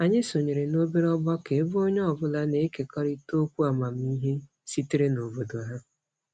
Anyị sonyere n'obere ọgbakọ ebe onye ọbụla na-ekekọrịta okwu amamihe sitere n'obodo ha.